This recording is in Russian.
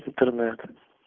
интернет